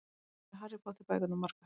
Hvað eru Harry Potter bækurnar margar?